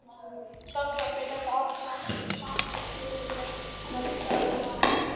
Sjálfsagt er þetta allt saman hluti af meðferðinni.